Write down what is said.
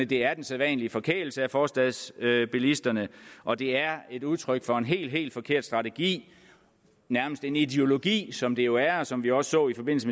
det er den sædvanlige forkælelse af forstadsbilisterne og det er et udtryk for en helt helt forkert strategi nærmest en ideologi som det jo er og som vi også så i forbindelse